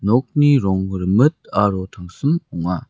nokni rong rimit aro tangsim ong·a.